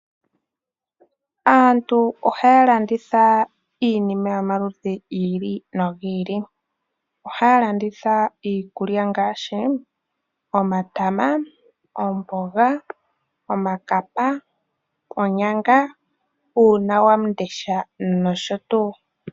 Aantu ohaya landitha iinima yomaludhi gi ili no gi ili. Ohaya landitha iikulya ngaashi omatama, omboga, iikapa, oonyanga , uunandeshi nosho tuu.